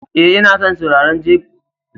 E, ina son saurari sabbin jerin waƙoƙinka.